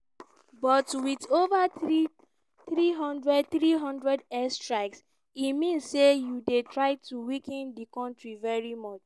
but wit ova 300 300 airstrikes e mean say you dey try to weaken di kontri very much."